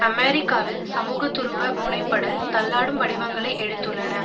அமெரிக்காவில் சமூக துருவ முனைப்படல் தள்ளாடும் வடிவங்களை எடுத்துள்ளன